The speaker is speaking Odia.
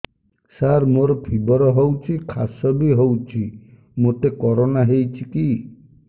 ସାର ମୋର ଫିବର ହଉଚି ଖାସ ବି ହଉଚି ମୋତେ କରୋନା ହେଇଚି କି